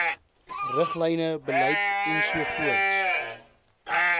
riglyne beleid ens